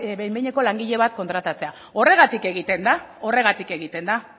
behin behineko langile bat kontratatzea horregatik egiten da horregatik egiten da